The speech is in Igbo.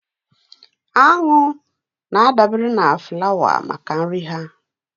Aṅụ na-adabere na flawa maka nri ha